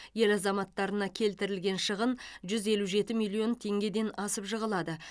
ел азаматтарына келтірілген шығын жүз елу жеті миллион теңгеден асып жығылады